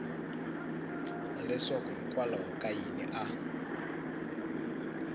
leswaku hikokwalaho ka yini a